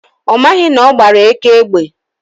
ọmaghị na ọgbara eke egbe